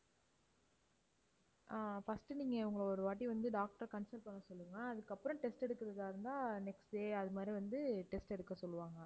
ஆஹ் first நீங்க இவங்களை ஒருவாட்டி வந்து doctor அ consult பண்ண சொல்லுங்க. அதுக்கப்புறம் test எடுக்குறதா இருந்தா next day அது மாதிரி வந்து test எடுக்கச் சொல்லுவாங்க